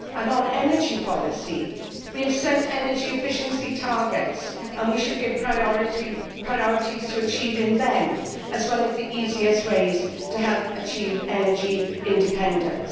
On energy policy we have set energy efficiency targets and we should give priority to achieving them as one of the easiest ways to help achieve energy independence.